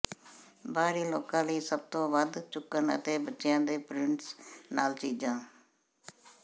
ਬਾਹਰੀ ਲੋਕਾਂ ਲਈ ਸਭ ਤੋਂ ਵੱਧ ਚੁੱਕਣ ਅਤੇ ਬੱਚਿਆਂ ਦੇ ਪ੍ਰਿੰਟਸ ਨਾਲ ਚੀਜ਼ਾਂ